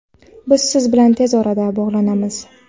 Biz siz bilan tez orada bog‘lanamiz!.